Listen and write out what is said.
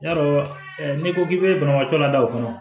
Yarɔ ɛ n'i ko k'i be banabaatɔ ladon